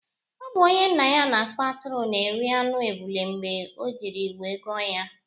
Ọ bụ onye nnaya na-akpa atụrụ na-eri anụ ebule mgbe o jiri wee gụọ ya